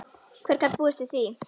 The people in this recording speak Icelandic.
Hver gat búist við því?